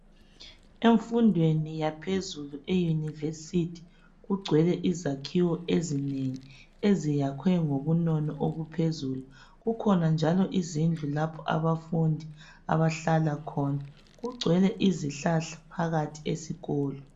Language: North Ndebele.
Emfundweni yaphezulu, eUniversity, kugcwele izakhiwo ezinengi, eziyakhwe ngobunono obuphezulu. Kukhona njalo izindlu lapho abafundi abahlala khona. Kugcwele izihlahla phakathi eskolo.